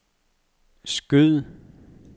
skyd